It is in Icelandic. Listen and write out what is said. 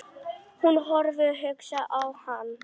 Hún horfði hugsi á hann.